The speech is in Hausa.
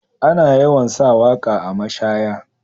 Ana yawan sa waka a mashaya.